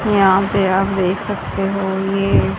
यहां पे आप देख सकते हो ये--